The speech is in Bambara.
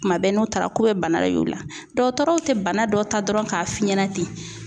Kuma bɛɛ n'u taara k'u bɛ bana de y'u la, dɔkɔtɔrɔw tɛ bana dɔ ta dɔrɔn k'a f'i ɲɛna ten